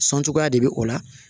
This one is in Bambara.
Sɔn cogoya de bɛ o la